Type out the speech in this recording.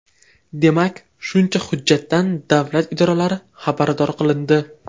Demak, shuncha hujjatdan davlat idoralari xabardor qilindi.